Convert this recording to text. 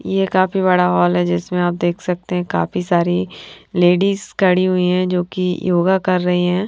ये काफी बड़ा जिसमें आप देख सकते हैं काफी सारी लेडिज खड़ी हुई हैं जो की योगा कर रही हैं।